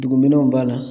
Dugumɛnɛw b'a la